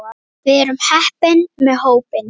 Við erum heppin með hópinn.